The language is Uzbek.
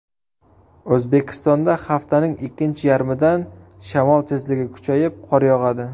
O‘zbekistonda haftaning ikkinchi yarmidan shamol tezligi kuchayib, qor yog‘adi.